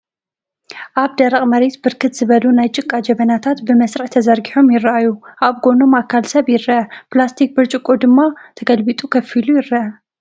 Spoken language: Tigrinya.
ኣብቲ ደረቕ መሬት ብርክት ዝበሉ ናይ ጭቃ ጀበናታት ብመስርዕ ተዘርጊሖም ይረኣዩ። ኣብ ጎኖም ኣካል ሰብ ይረአ፤ ፕላስቲክ ብርጭቆ ማይ ድማ ተገልቢጡ ኮፍ ኢሉ ይረአ።